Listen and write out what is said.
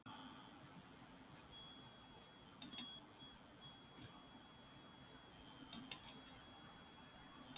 Jóhann Hlíðar Harðarson: Eftirsjá?